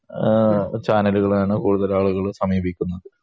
ആഹ് ചാന്നലുകളാണ് കൂടുതൽ ആളുകളും സമീപിക്കുന്നത്